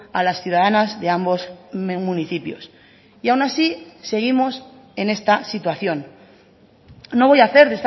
a las ciudadanas de ambos municipios y aún así seguimos en esta situación no voy a hacer